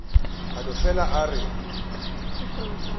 a no fele a re